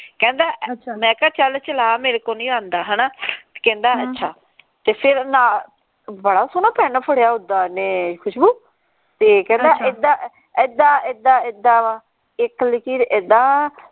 ਕਹਿੰਦਾ ਮੈਂ ਕਿਹਾ ਚੱਲ ਚਲਾ ਮੇਰੇ ਕੋ ਨਹੀਂ ਆਂਦਾ ਹਣਾ ਕਹਿੰਦਾ ਅੱਛਾ ਤੇ ਫੇਰ ਨਾ ਬਾਹਲਾ ਸੋਹਣਾ ਪੇਨ ਫੜਿਆ ਉੱਦਾ ਓਹਨੇ ਖੁਸ਼ਬੂ ਤੇ ਕਹਿੰਦਾ ਇੱਦਾ ਇੱਦਾ ਇੱਦਾ ਇੱਦਾ ਵਾ ਇਕ ਲਖੀਰ ਇੱਦਾ ਵਾ